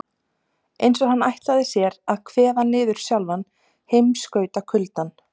Eins og hann ætli sér að kveða niður sjálfan heimskautakuldann.